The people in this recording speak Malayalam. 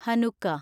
ഹനുക്ക